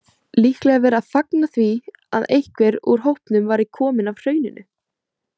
Líklega verið að fagna því að einhver úr hópnum væri kominn af Hrauninu.